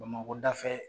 Bamakɔ dafɛ